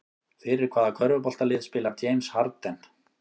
Fyrir hvaða körfuboltalið spilar James Harden?